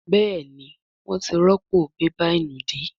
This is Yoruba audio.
Béèni wón tí rọpo bébà ìnùdí.